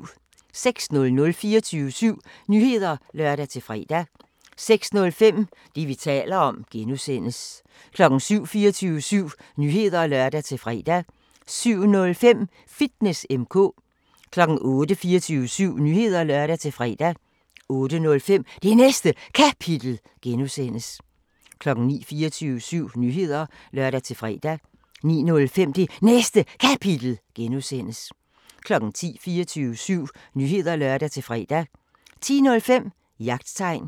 06:00: 24syv Nyheder (lør-fre) 06:05: Det, vi taler om (G) 07:00: 24syv Nyheder (lør-fre) 07:05: Fitness M/K 08:00: 24syv Nyheder (lør-fre) 08:05: Det Næste Kapitel (G) 09:00: 24syv Nyheder (lør-fre) 09:05: Det Næste Kapitel (G) 10:00: 24syv Nyheder (lør-fre) 10:05: Jagttegn